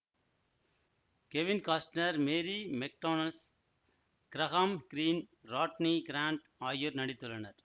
Kevin Costner Mary McDonnells Graham Greene Rodney Grant ஆகியோர் நடித்துள்ளனர்